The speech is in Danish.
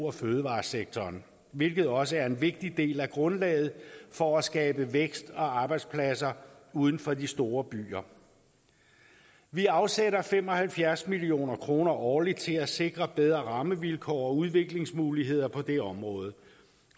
og fødevaresektoren hvilket også er en vigtig del af grundlaget for at skabe vækst og arbejdspladser uden for de store byer vi afsætter fem og halvfjerds million kroner årligt til at sikre bedre rammevilkår og udviklingsmuligheder på det område